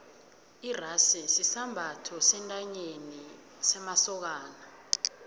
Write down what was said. irasi sisambatho sentanyeni semasokani